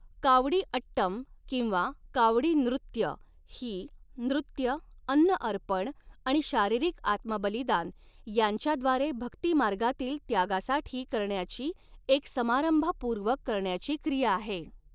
कावडी अट्टम किंवा 'कावडी नृत्य' ही, नृत्य, अन्न अर्पण आणि शारीरिक आत्मबलिदान यांच्याद्वारे भक्तीमार्गातील त्यागासाठी करण्याची एक समारंभपूर्वक करण्याची क्रिया आहे.